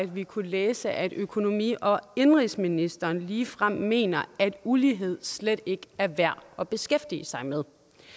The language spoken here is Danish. vi kunne læse at økonomi og indenrigsministeren ligefrem mener at ulighed slet ikke er værd at beskæftige sig med